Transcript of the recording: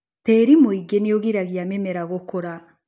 Tiĩri muingĩ nĩũgiragia mĩmera gũkũra.